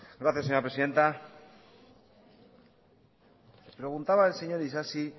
gracias señora presidenta preguntaba el señor isasi